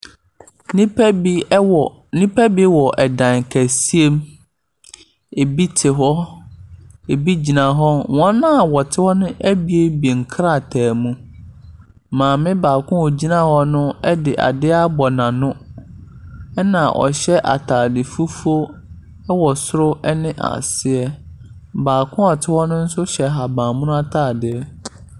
Nnipa bi wɔ Nipa bi wa ɛda kɛseɛ mu. Ɛbi te hɔ, ɛbi gyina hɔ. Wɔn a wɔte hɔ no abue nkrataa mu. Maame baako a ɔgyina hɔ no de adeɛ abɔ n'ano, ɛna ɔhyɛ atade fufuo wɔ soro ne aseɛ. Baako a ɔte hɔ no nsomhyɛ ahabammono atadeɛ.